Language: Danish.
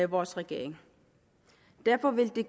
vores regering derfor vil det